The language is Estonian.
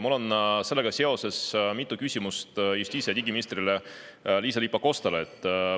Mul on sellega seoses mitu küsimust justiits‑ ja digiminister Liisa-Ly Pakostale.